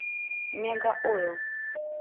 мегаойл